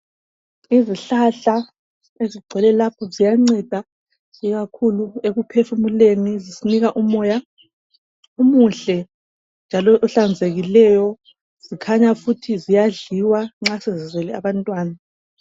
Izihlahla ezigcwele lapha ziyanceda ikakhulu ekuphefumuleni zisinika umoya omuhle, njalo ohlanzekileyo, zikhanya futhi ziyadliwa nxa sezizele abantwana.